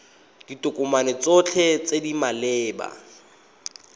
ditokomane tsotlhe tse di maleba